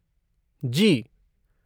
जी।